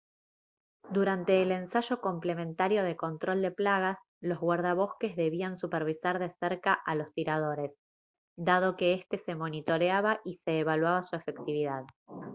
durante el ensayo complementario de control de plagas los guardabosques debían supervisar de cerca a los tiradores dado que éste se monitoreaba y se evaluaba su efectividad